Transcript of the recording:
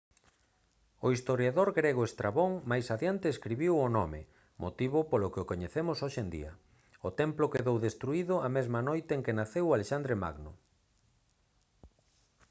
o historiador grego estrabón máis adiante escribiu o nome motivo polo que o coñecemos hoxe en día o templo quedou destruído a mesma noite en que naceu alexandre magno